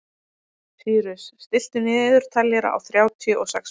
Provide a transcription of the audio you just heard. Sýrus, stilltu niðurteljara á þrjátíu og sex mínútur.